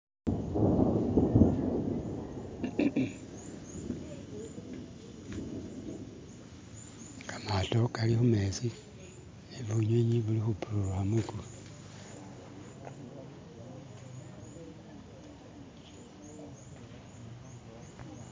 kamato kali humezi nebunywinywi buli hupururuha mwikulu